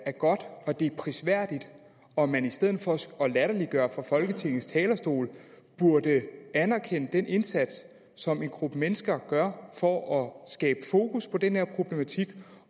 godt og at det er prisværdigt og at man i stedet for at latterliggøre det fra folketingets talerstol burde anerkende den indsats som en gruppe mennesker gør for at skabe fokus på den her problematik